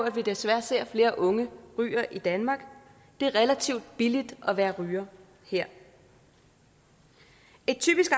at vi desværre ser at flere unge ryger i danmark det er relativt billigt at være ryger her et typisk